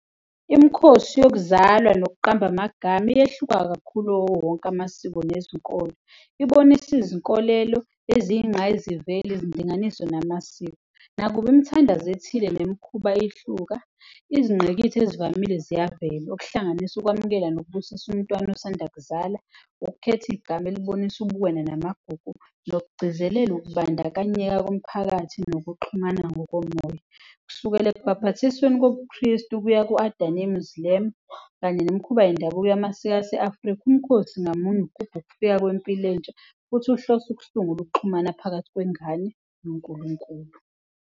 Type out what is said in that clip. Imikhosi yokuzalwa nokuqamba amagama iyehluka kakhulu kuwo wonke amasiko nezinkolo. Ibonisa izinkolelo eziyingqayizivele, izindinganiso namasiko. Nakuba imithandazo ethile nemikhuba ihluka, izingqikithi ezivamile ziyavela, okuhlanganisa ukwamukela nokubusiswa umntwana osanda kuzala, ukukhetha igama elibonisa ubuwena namagugu nokugcizelela ukubandakanyeka komphakathi nokuxhumana ngokomoya, kusukela ekubhabhathisweni kobuKhristu kuya kanye nemikhuba yendabuko yamasiko aseAfrika, umkhosi ngamunye ugubha ukufika kwempilo entsha futhi uhlose ukusungula ukuxhumana phakathi kwengane noNkulunkulu.